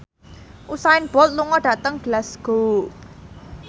Usain Bolt lunga dhateng Glasgow